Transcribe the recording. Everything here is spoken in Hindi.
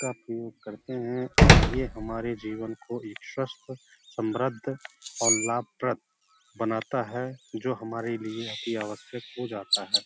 का उपयोग करते हैं और ये हमारे जीवन को एक स्वस्थ समृद्ध और लाभप्रद बनाता है जो हमारे लिए अति आवश्यक हो जाता है।